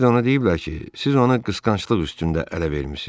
bir də ona deyiblər ki, siz onu qısqanclıq üstündə ələ vermisiz.